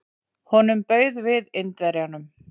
Honum bauð við Indverjanum.